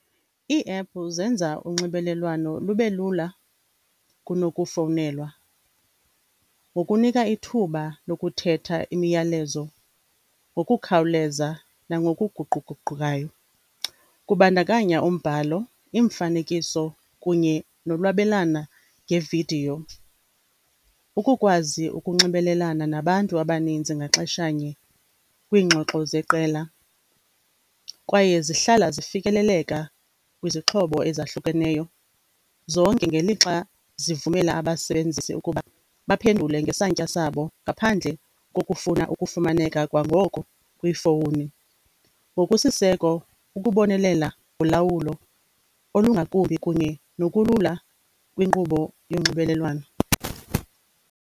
Iiephu zenza unxibelelwano lube lula kunokufowunelwa, ngokunika ithuba lokuthetha imiyalezo ngokukhawuleza nangokuguquguqukayo. Kubandakanya umbhalo, imifanekiso kunye nolwabelana ngevidiyo. Ukukwazi ukunxibelelana nabantu abaninzi ngaxeshanye kwiingxoxo zeqela, kwaye zihlala zifikeleleka kwizixhobo ezahlukeneyo zonke, ngelixa zivumela abasebenzisi ukuba baphendule ngesantya sabo ngaphandle kokufuna ukufumaneka kwangoko kwiifowuni. Ngokusiseko ukubonelela ulawulo olungakumbi kunye nokulula kwinkqubo yonxibelelwano.